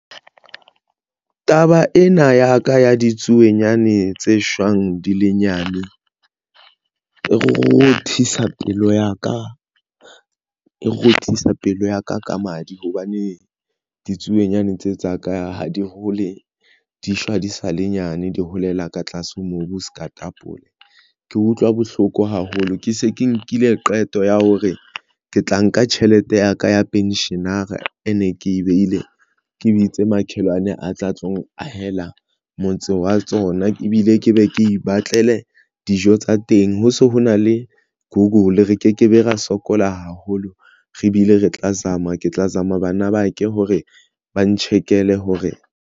Taba ena ya ka ya ditsuonyane tse shwang di le nyane e rothisa pelo ya ka rothisa pelo ya ka ka madi. Hobane ditsuonyane tseo tsa ka ha di hole di shwa di sa le nyane. Di holela ka tlasa mobu se ka tapole ke utlwa bohloko haholo, ke se ke nkile qeto ya hore ke tla nka tjhelete ya ka ya pensionera ene ke e behile ke bitse makhelwane a tle a tlo ahela motse wa tsona ebile ke be ke ipatlele dijo tsa teng, ho se ho na le google re ke ke be ra sokola haholo re bile re tla zama ke tla zama bana ba ke hore ba ntjhekele hore.